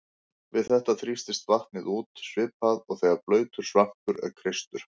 Við þetta þrýstist vatnið út svipað og þegar blautur svampur er kreistur.